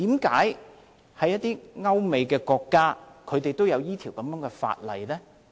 為何一些歐美國家都有這樣的法例？